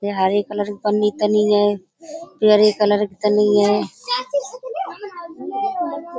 ये हरे कलर की पन्नी तनी ऐ । पीयरे कलर की तनी ऐ ।